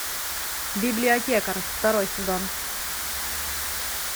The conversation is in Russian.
библиотекарь второй сезон